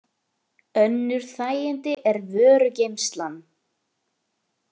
Önnur þægindi er vörugeymslan.